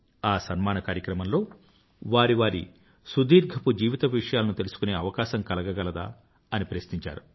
ఆ సన్మాన కార్యక్రమంలో వారి వారి సుదీర్ఘపు జీవితపు విషయాలను తెలుసుకునే అవకాశం కలగగలదా అని ప్రశ్నించారు